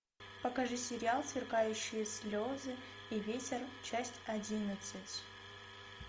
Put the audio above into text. покажи сериал сверкающие слезы и ветер часть одиннадцать